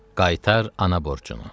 Qaytar ana borcunu.